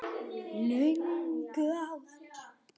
Löngu áður.